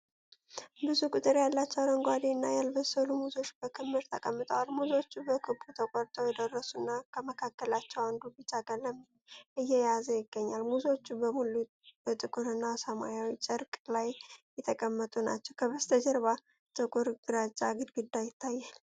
ብዙ ቁጥር ያላቸው አረንጓዴና ያልበሰሉ ሙዞች በክምር ተቀምጠዋል። ሙዞቹ በክቡ ተቆርጠው የደረሱ እና፣ ከመካከላቸው አንዱ ቢጫ ቀለም እየያዘ ይገኛል። ሙዞቹ በሙሉ በጥቁር እና በሰማያዊ ጨርቅ ላይ የተቀመጡ ናቸው፣ ከበስተጀርባ ጥቁር ግራጫ ግድግዳ ይታያል።